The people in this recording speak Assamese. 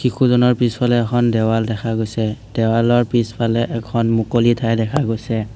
শিশুজনাৰ পিছফালে এখন দেৱাল দেখা গৈছে দেৱালৰ পিছফালে এখন মুকলি ঠাই দেখা গৈছে।